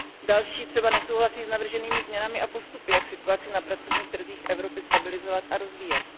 Další třeba nesouhlasí s navrženými změnami a postupy, jak situaci na pracovních trzích Evropy stabilizovat a rozvíjet.